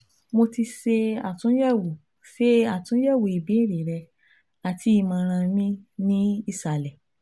Mo ti ṣe atunyẹwo ṣe atunyẹwo ibeere rẹ ati imọran mi ni isalẹ